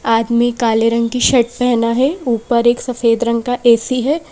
आदमी काले रंग की शर्ट पहना है ऊपर एक सफेद रंग का ए_सी है।